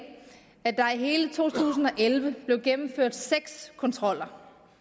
at der i hele to tusind og elleve blev gennemført seks kontroller